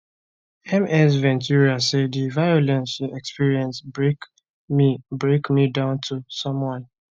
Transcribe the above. ms ventura say di violence she experience break me break me down to someone